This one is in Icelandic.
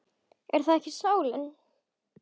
Er það ekki sálin?